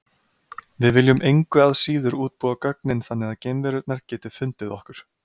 Við viljum engu að síður útbúa gögnin þannig að geimverurnar geti fundið okkur.